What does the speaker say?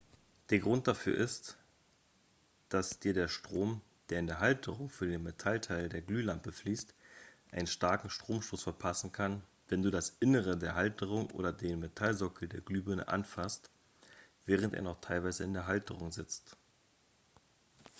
der grund dafür ist dass dir der strom der in die halterung für den metallteil der glühlampe fließt einen starken stromstoß verpassen kann wenn du das innere der halterung oder den metallsockel der glühbirne anfasst während er noch teilweise in der halterung sitzt